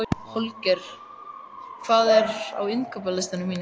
Holger, hvað er á innkaupalistanum mínum?